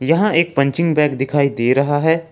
यहां एक punching bag दिखाई दे रहा है।